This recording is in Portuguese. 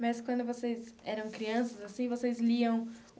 Mas quando vocês eram crianças, assim, vocês liam?